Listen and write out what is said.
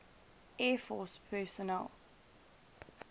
air force personnel